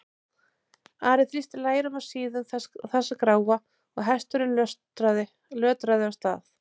Ari þrýsti lærum að síðum þess gráa og hesturinn lötraði af stað.